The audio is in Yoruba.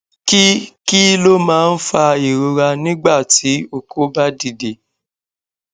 kí kí ló máa ń fa ìrora nígbà tí oko ba dide